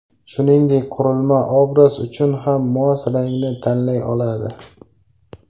Shuningdek, qurilma obraz uchun ham mos rangni tanlay oladi.